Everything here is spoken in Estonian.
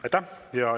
Aitäh!